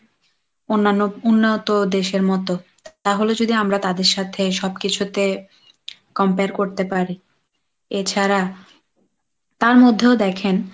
অন্যান্য উন্নত দেশের মতো তাহলে যদি আমরা তাদের সাথে সব কিছুতে compare করতে পারি, এছাড়া তার মধ্যেও দেখেন